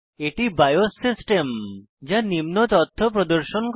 এটি BIOS system যা নিম্ন তথ্য প্রদর্শন করে